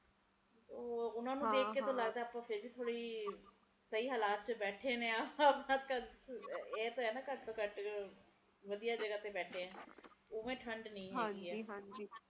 ਓਹੋ ਓਹਨਾ ਨੂੰ ਦੇਖ ਕੇ ਲੱਗਦਾ ਵੀ ਆਪਾ ਸਹੀ ਹਲਾਤ ਚ ਬੈਠੇ ਆ ਹੈ ਤਾ ਹੈ ਨਾ ਘੱਟ ਤੋਂ ਘੱਟ ਵਧੀਆ ਜਗਾਹ ਤੇ ਬੈਠੇ ਆ ਓਵੇ ਠੰਡ ਨੀ ਹੈਗੀ ਹਜੀ ਹਜੀ